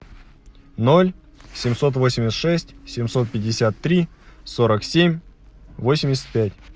ноль семьсот восемьдесят шесть семьсот пятьдесят три сорок семь восемьдесят пять